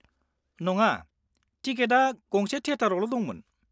-नङा, टिकेटआ गंसे थिएटारावल' दंमोन।